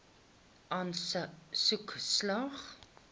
aansoek slaag